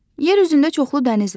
Yer üzündə çoxlu dəniz var.